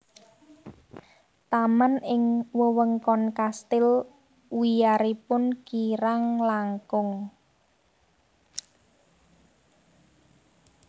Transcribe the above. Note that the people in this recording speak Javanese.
Taman ing wewengkon Kastil wiyaripun kirang langkung